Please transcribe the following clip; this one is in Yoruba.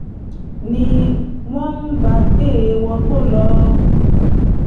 ni wọ́n bá gbé e wọgbó lọ